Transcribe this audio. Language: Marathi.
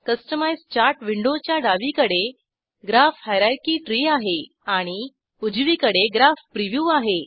कस्टमाइझ चार्ट विंडोच्या डावीकडे ग्राफ हायररची त्री आहे आणि उजवीकडे ग्राफ प्रिव्ह्यू आहे